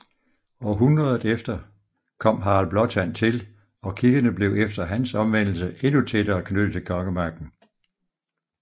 Århundredet efter kom Harald Blåtand til og kirkerne blev efter hans omvendelse endnu tættere knyttet til kongemagten